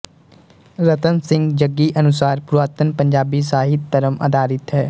ਰਤਨ ਸਿੰਘ ਜੱਗੀ ਅਨੁਸਾਰ ਪੁਰਾਤਨ ਪੰਜਾਬੀ ਸਾਹਿਤ ਧਰਮ ਆਧਾਰਿਤ ਹੈ